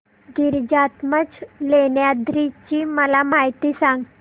गिरिजात्मज लेण्याद्री ची मला माहिती सांग